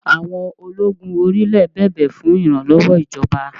Àwọn ológun orí-ilẹ̀ bẹ̀bẹ̀ fún ìrànlọ́wọ́ ìjọba